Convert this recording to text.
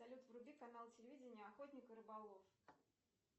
салют вруби канал телевидения охотник и рыболов